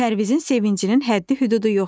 Pərvizin sevincinin həddi-hüdudu yox idi.